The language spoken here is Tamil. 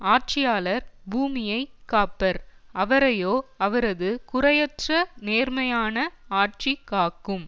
ஆட்சியாளர் பூமியைக் காப்பர் அவரையோ அவரது குறையற்ற நேர்மையான ஆட்சி காக்கும்